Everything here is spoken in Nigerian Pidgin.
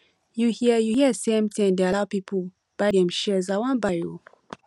you hear you hear say mtn dey allow people buy dem shares i wan buy oo